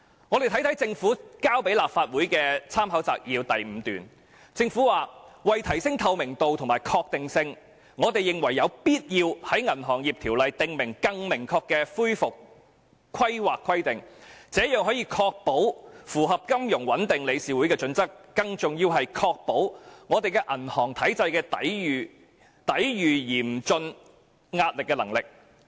我們看看立法會參考資料摘要第5段，政府說"為提升透明度及確定性，我們認為有必要在《銀行業條例》訂立更明確的恢復規劃規定，這樣除可確保符合金融穩定理事會的準則，更重要的是可確保我們銀行體系抵禦嚴峻壓力的能力"。